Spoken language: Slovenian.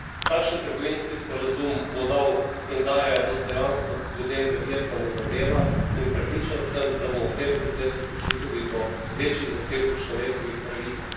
Takšen trgovinski sporazum bo dal in daje dostojanstvo ljudem v Vietnamu do dela in prepričan sem, da bomo v tem procesu prišli tudi do večjih zahtev po človekovih pravicah.